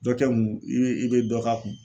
Dɔ kɛ ŋu i be i be dɔ k'a kun.